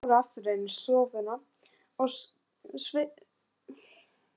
Þeir fóru aftur inn í stofuna og svipuðust um eftir Simma.